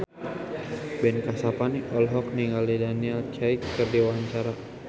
Ben Kasyafani olohok ningali Daniel Craig keur diwawancara